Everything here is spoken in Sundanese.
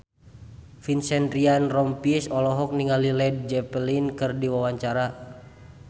Vincent Ryan Rompies olohok ningali Led Zeppelin keur diwawancara